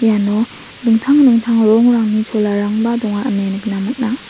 iano dingtang dingtang rongrangni cholarangba donga ine nikna man·a.